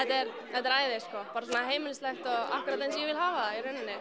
þetta er æði sko bara svona heimilislegt og akkúrat eins og ég vil hafa það í rauninni